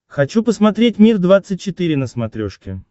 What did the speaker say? хочу посмотреть мир двадцать четыре на смотрешке